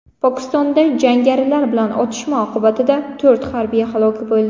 Pokistonda jangarilar bilan otishma oqibatida to‘rt harbiy halok bo‘ldi.